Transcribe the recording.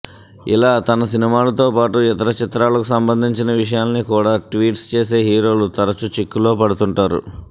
అలా తన సినిమాలతో పాటు ఇతర చిత్రాలకు సంబంధించిన విషయాల్నికూడా ట్వీట్స్ చేసే హీరోలు తరచు చిక్కుల్లో పడుతుంటారు